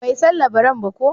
Bai san labaran ba ko?